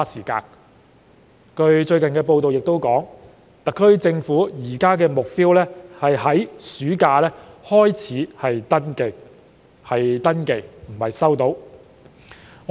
據最近報道所述，特區政府現時的目標是在暑假才開始登記；市民只是登記，而不是收到消費券。